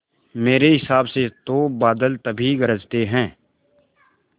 मेरे हिसाब से तो बादल तभी गरजते हैं